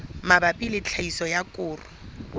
mabapi le tlhahiso ya koro